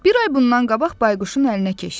Bir ay bundan qabaq bayquşun əlinə keçdi.